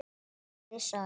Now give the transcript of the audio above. Komiði sæl!